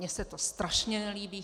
Mně se to strašně nelíbí.